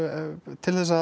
til þess að